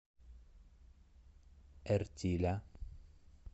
эртиля